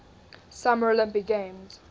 summer olympic games